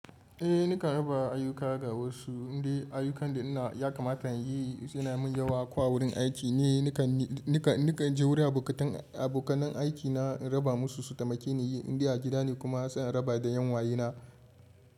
Eh nakan raba ayuka ga wasu. Indai ayukan da ina yakamata in yi suna min yawa ko a wurin aiki ne, nikan, nikan nika je wurin abokatan, abokanai aiki na raba musu su tamake ni yi. Indai a gida ne kuma zan raba da yan uwayena.